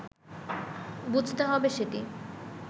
বুঝতে হবে সেটি